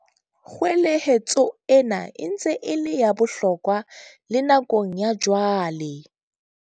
Kgwelehetso ena e ntse e le ya bohlokwa le nakong ya jwale.